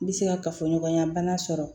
N bɛ se ka kafoɲɔgɔnya bana sɔrɔ